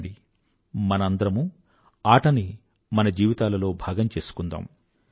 రండి మనందరమూ ఆటని మన జీవితాలలో భాగం చేసుకుందాం